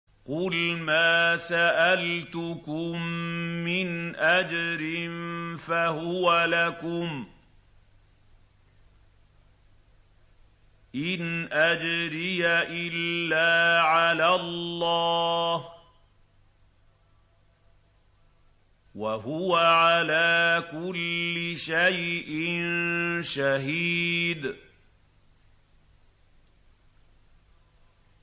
قُلْ مَا سَأَلْتُكُم مِّنْ أَجْرٍ فَهُوَ لَكُمْ ۖ إِنْ أَجْرِيَ إِلَّا عَلَى اللَّهِ ۖ وَهُوَ عَلَىٰ كُلِّ شَيْءٍ شَهِيدٌ